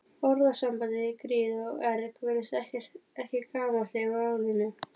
Orðasambandið í gríð og erg virðist ekki gamalt í málinu.